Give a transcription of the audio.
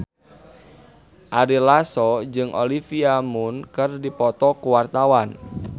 Ari Lasso jeung Olivia Munn keur dipoto ku wartawan